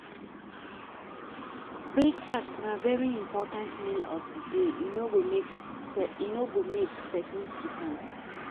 Breakfast na very important meal of di day e no good make persin skip am